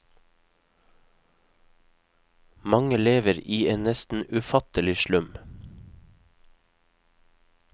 Mange lever i en nesten ufattelig slum.